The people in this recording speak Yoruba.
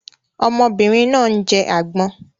Ọmọbìnrin náà ń jẹ agbon